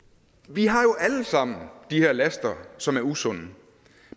vi har jo alle sammen de her laster som er usunde